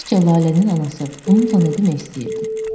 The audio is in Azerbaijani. Sizcə Lalənin anası bununla nə demək istəyirdi?